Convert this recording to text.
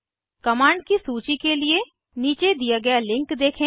commands की सूची के लिए नीचे दिए गए लिंक देखें